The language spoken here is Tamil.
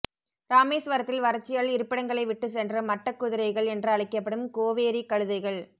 ராமேஸ்வரத்தில் வறட்சியால் இருப்பிடங்களை விட்டு சென்ற மட்டக்குதிரைகள் என்று அழைக்கப்படும் கோவேரி கழுதைகள்